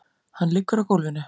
Hann liggur á gólfinu.